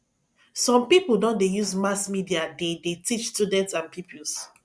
some people don dey use mass media dey dey teach students and pupils